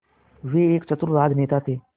वो एक चतुर राजनेता थे